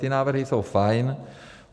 Ty návrhy jsou fajn.